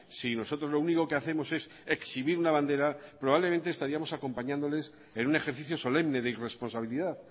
si nosotros lo único que hacemos es exhibir una bandera probablemente estaríamos acompañándoles en un ejercicio solemne de irresponsabilidad